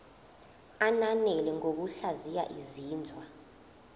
ananele ngokuhlaziya izinzwa